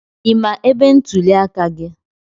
I ma ebe ntuli aka gị?